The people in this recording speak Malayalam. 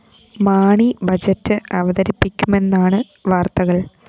മാണി ബഡ്ജറ്റ്‌ അവതരിപ്പിക്കുമെന്നാണ് വാര്‍ത്തകള്‍